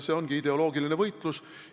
See ongi ideoloogiline võitlus.